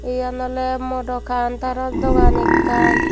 yen oley modo countaro dogan ekkan.